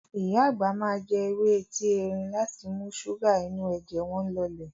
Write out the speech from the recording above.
Ìyá àgbà máa jẹ ewé etí erin láti mú ṣúgà inú ẹ̀jẹ̀ wọn lọlẹ̀.